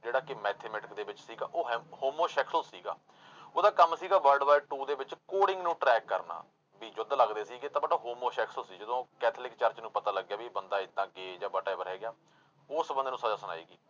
ਜਿਹੜਾ ਕਿ mathematic ਦੇ ਵਿੱਚ ਸੀਗਾ ਉਹ ਹੈਮ ਹੋਮੋ ਸੈਕਸੋ ਸੀਗਾ ਉਹਦਾ ਕੰਮ ਸੀਗਾ world war two ਦੇ ਵਿੱਚ coding ਨੂੰ track ਕਰਨਾ, ਵੀ ਯੁੱਧ ਲੱਗਦੇ ਸੀਗੇ ਤਾਂ but ਹੋਮੋ ਸੈਕਸੋ ਸੀ ਜਦੋਂ ਕੈਥੋਲਿਕ church ਨੂੰ ਪਤਾ ਲੱਗਿਆ ਵੀ ਇਹ ਬੰਦਾ ਏਦਾਂ ਜਾਂ whatever ਹੈਗਾ ਉਸ ਬੰਦੇ ਨੂੰ ਸਜ਼ਾ ਸੁਣਾਈ ਗਈ।